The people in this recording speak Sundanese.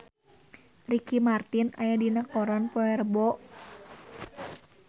Ricky Martin aya dina koran poe Rebo